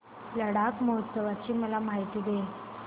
लडाख महोत्सवाची मला माहिती दे